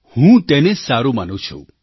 હું તેને સારું માનું છું